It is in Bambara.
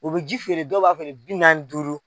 U bɛ ji feere dɔw b'a feere bi naani ni duuru.